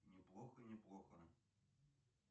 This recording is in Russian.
неплохо неплохо